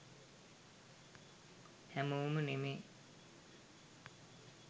හැමෝම නෙමේ